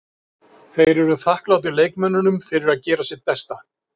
Þeir eru þakklátir leikmönnunum fyrir að gera sitt besta.